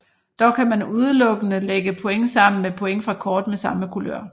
Dog kan man udelukkende lægge point sammen med point fra kort med samme kulør